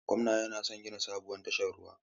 Gwamna yana son gina sabuwar tashar ruwa.